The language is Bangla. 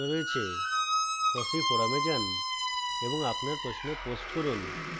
fossee forum যান এবং আপনার প্রশ্ন post করুন